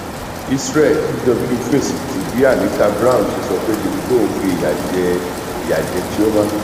israel dgw fèsì bí anita brown ṣe sọ pé davido ń fi ìyà jẹ ìyà jẹ chioma